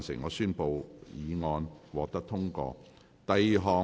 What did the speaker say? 我宣布議案獲得通過。